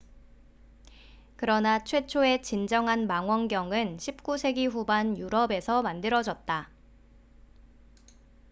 그러나 최초의 진정한 망원경은 16세기 후반 유럽에서 만들어졌다